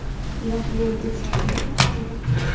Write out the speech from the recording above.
Ularga yangi yil sovg‘alari ulashildi.